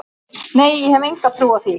Nei ég hef enga trú á því.